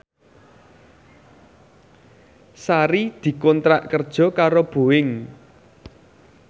Sari dikontrak kerja karo Boeing